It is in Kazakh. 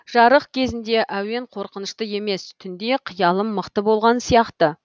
жарық кезінде әуен қорқынышты емес түнде қиялым мықты болған сияқты